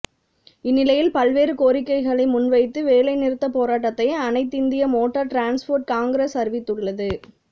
இந்நிலையில் பல்வேறு கோரிக்கைகளை முன்வைத்து வேலைநிறுத்த போராட்டத்தை அனைத்திந்திய மோட்டார் டிரான்ஸ்போர்ட் காங்கிரஸ் அறிவித்துள்ளது